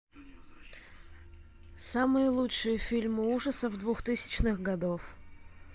самые лучшие фильмы ужасов двухтысячных годов